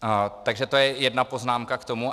Takže to je jedna poznámka k tomu.